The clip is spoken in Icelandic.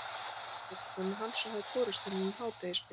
Það var frá konu hans og hafði borist honum um hádegisbil.